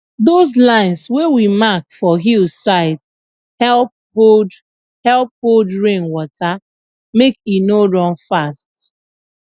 those lines wey we mark for hill side help hold help hold rain water make e no run fast